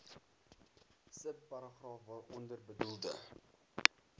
subparagraaf waaronder bedoelde